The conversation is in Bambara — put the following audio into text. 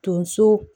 Donso